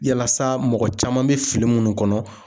Yalasa mɔgɔ caman bɛ fili minnu kɔnɔ